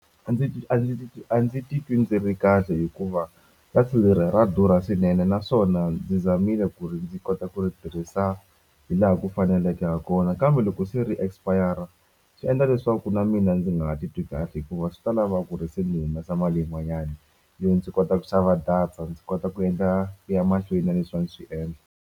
A ndzi a ndzi a ndzi titwi ndzi ri kahle hikuva data leri ra durha swinene naswona ni zamile ku ri ndzi kota ku ri tirhisa hi laha ku faneleke ha kona kambe loko se ri expire swi endla leswaku na mina ndzi nga titwi kahle hikuva swi ta lava ku ri se ni humesa mali yin'wanyani yo ndzi kota ku xava data ndzi kota ku endla ku ya mahlweni na leswi a ni swi endla.